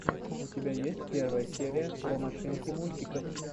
у тебя есть первая серия про машинки мультиков